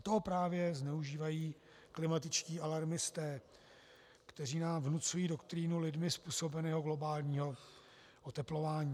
A to právě zneužívají klimatičtí alarmisté, kteří nám vnucují doktrínu lidmi způsobeného globálního oteplování.